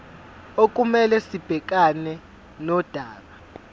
okumele sibhekane nodaba